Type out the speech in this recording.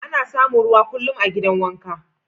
Ana samun ruwa kullum a'gidan wanka.